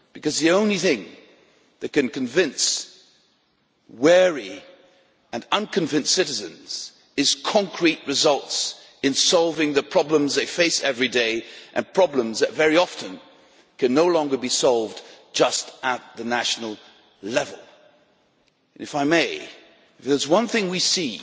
The only thing that can convince wary and unconvinced citizens is concrete results in solving the problems they face every day and problems that, very often, can no longer be solved just at the national level. If I may if there is one thing we see